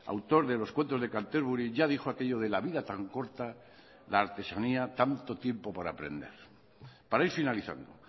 autor de los cuentos de canterbury ya dijo aquello de la vida tan corta la artesanía tanto tiempo por aprender para ir finalizando